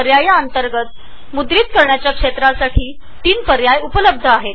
रिजनच्या अंतर्गत कॅप्चरचे ३ पर्याय आहेत